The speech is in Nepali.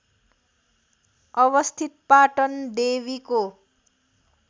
अवस्थित पाटन देवीको